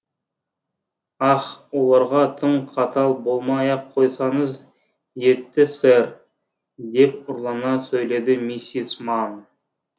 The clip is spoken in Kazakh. ах оларға тым қатал болмай ақ қойсаңыз етті сэр деп ұрлана сөйледі миссис манн